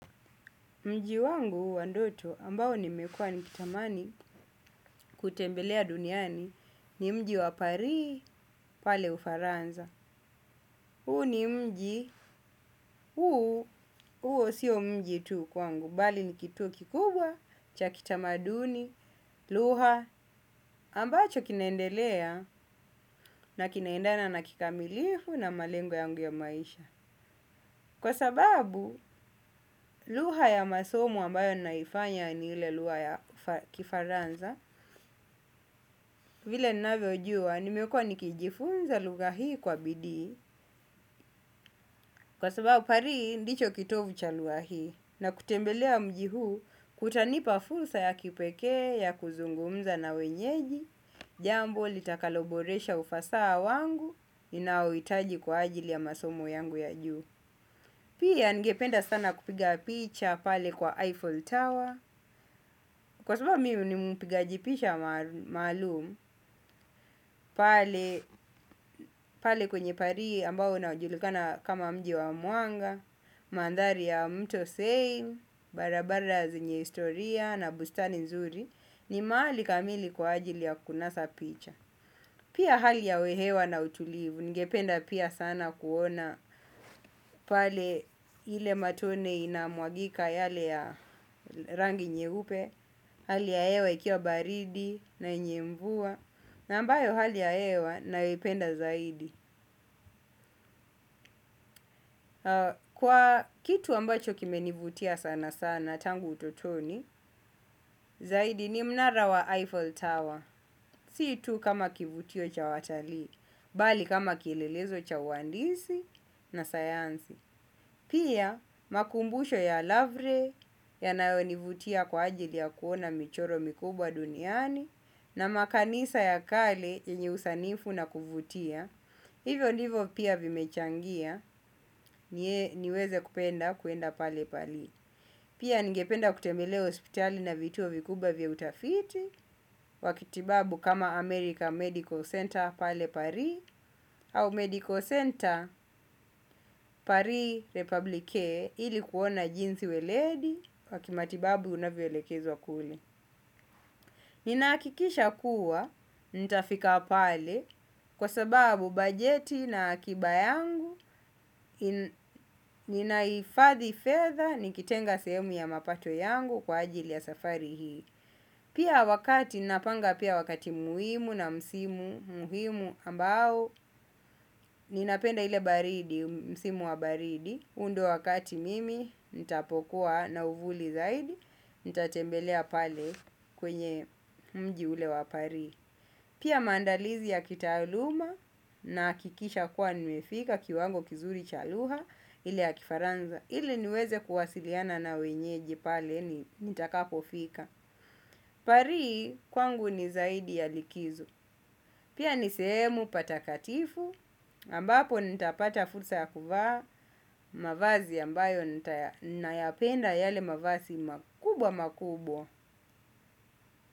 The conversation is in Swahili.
Mji wangu wa ndoto ambao nimekuwa nikitamani kutembelea duniani ni mji wa Pari pale Ufaransa. Huu ni mji, huu, huo sio mji tu kwangu, bali ni kituo kikubwa, cha kitamaduni, lugha, ambacho kinaendelea na kinaendana na kikamilifu na malengo ya maisha. Kwa sababu lugha ya masomo ambayo ninaifanya ni ile lugha ya Kifaransa, vile ninavyojua nimekuwa nikijifunza lugha hii kwa bidii, kwa sababu Pari, ndicho kitovu cha lugha hii. Na kutembelea mji huu kutanipa fursa ya kipekee ya kuzungumza na wenyeji, jambo litakaloboresha ufasaha wangu, ninaohitaji kwa ajili ya masomo yangu ya juu. Pia ningependa sana kupiga picha pale kwa Eiffel Tower kwa sababu mimi ni mpigaji picha maalum. Pale kwenye Pari ambao unajulikana kama mji wa mwanga, mandhari ya mto Thame, barabara zenye historia na bustani nzuri ni mahali kamili kwa ajili ya kunasa picha. Pia hali ya hewa na utulivu. Ningependa pia sana kuona pale ile matone inamwagika yale ya rangi nyeupe. Hali ya hewa ikiwa baridi na yenye mvua. Na ambayo hali ya hewa naipenda zaidi. Kwa kitu ambacho kimenivutia sana sana tangu utotoni. Zaidi ni mnara wa Eiffel Tower. Si tu kama kivutio cha watalii. Bali kama kielelezo cha wahandisi na sayansi. Pia makumbusho ya Lavre yanayonivutia kwa ajili ya kuona michoro mikubwa duniani na makanisa ya kale yenye usanifu na kuvutia, hivyo ndivyo pia vimechangia niweze kupenda kuenda pale Pari. Pia ningependa kutembelea hospitali na vituo vikubwa vya utafiti, wa kitibabu kama America Medical Center pale Pari, au Medical Center Paris Republike ili kuona jinsi weledi, wa kimatibabu unavyoelekezwa kule. Ninahakikisha kuwa, nitafika pale, kwa sababu bajeti na akiba yangu, ninahifathi fedha nikitenga sehemu ya mapato yangu kwa ajili ya safari hii. Pia wakati, napanga pia wakati muhimu na msimu muhimu ambao, ninapenda ile baridi, msimu wa baridi, huu ndio wakati mimi, nitapokuwa na uvuli zaidi, nitatembelea pale kwenye mji ule wa Pari. Pia maandalizi ya kitaaluma nahakikisha kuwa nimefika kiwango kizuri cha lugha ile ya Kifaransa. Ile niweze kuwasiliana na wenyeji pale ni nitakapofika. Pari kwangu ni zaidi ya likizo. Pia ni sehemu patakatifu ambapo nitapata fursa ya kuvaa mavazi ambayo ninayapenda yale mavazi makubwa makubwa.